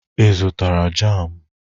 Ị zụtara jamụ?